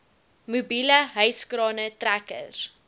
mobiele hyskrane trekkers